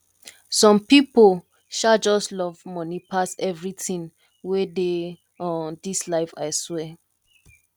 some pipo um just love money pass everything wey dey um dis life aswear